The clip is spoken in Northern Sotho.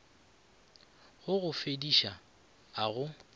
go go befediša a go